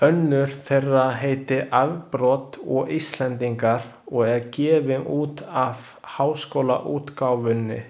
Önnur þeirra heitir Afbrot og Íslendingar og er gefin út af Háskólaútgáfunni.